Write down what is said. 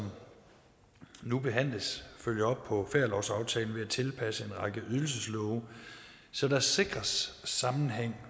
nu behandles følger op på ferielovsaftalen ved at tilpasse en række ydelseslove så der sikres sammenhæng